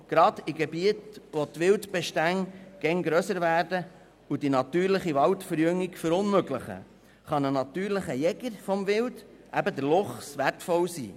Gerade in Gebieten, in denen Wildbestände immer grösser werden und die natürliche Waldverjüngung verunmöglichen, kann ein natürlicher Jäger des Wildes, der Luchs eben, wertvoll sein.